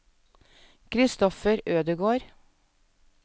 Christopher Ødegård